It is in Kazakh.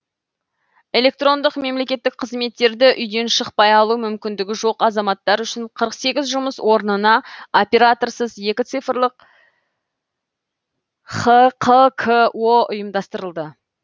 электрондық мемлекеттік қызметтерді үйден шықпай алу мүмкіндігі жоқ азаматтар үшін қырық сегіз жұмыс орнына операторсыз екі цифрлық хқко ұйымдастырылды